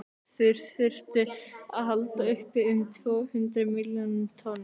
þeir þyrftu að halda uppi um tvö hundruð milljón tonnum